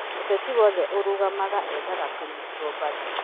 Mũteti o wothe arũgama eethaga kũnyitwo mbaru